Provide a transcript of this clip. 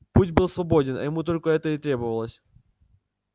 путь был свободен а ему только это и требовалось